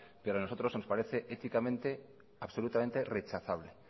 pero a nosotros nos parece éticamente absolutamente rechazable